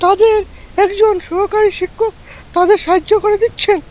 তাদের একজন সহকারী শিক্ষক তাদের সাহায্য করে দিচ্ছে।